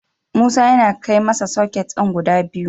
Musa yana kai masa soket din guda biyu.